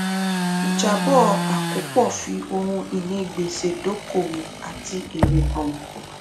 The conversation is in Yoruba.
ìjábọ àkópọ fi ohun ìní gbèsè dókòwò àti èrè hàn